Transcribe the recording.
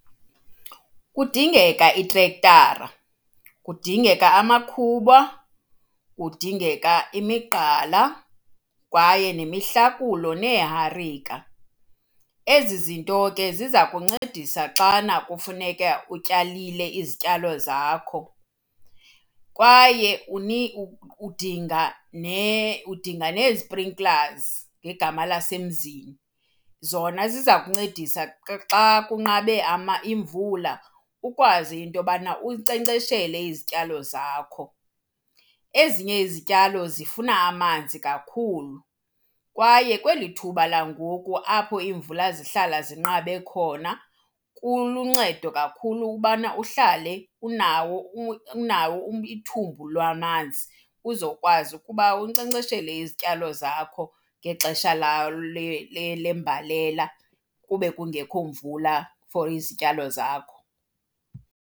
Kudingeka itrektara, kudingeka amakhuba, kudingeka imigqala kwaye nemihlakulo, neeharika. Ezi zinto ke ziza kuncedisa xana kufuneka utyalile izityalo zakho kwaye udinga nee-sprinklers ngegama lasemzini. Zona ziza kuncedisa xa kunqabe imvula ukwazi into yobana unkcenkceshele izityalo zakho. Ezinye izityalo zifuna amanzi kakhulu kwaye kweli thuba langoku apho iimvula zihlala zinqabe khona kuluncedo kakhulu ukubana uhlale unawo unawo ithumbu lwamanzi uzokwazi ukuba unkcenkceshele izityalo zakho ngexesha lembalela kube kungekho mvula for izityalo zakho.